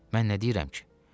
Mən nə deyirəm ki?